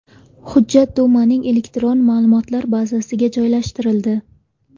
Hujjat Dumaning elektron ma’lumotlar bazasiga joylashtirildi.